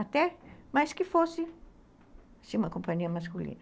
Até mais que fosse uma companhia masculina.